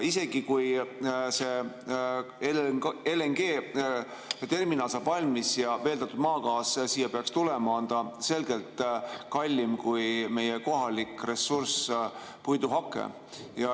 Isegi kui see LNG‑terminal saab valmis ja veeldatud maagaas siia peaks tulema, on see selgelt kallim kui meie kohalik ressurss puiduhake.